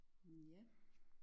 Mh ja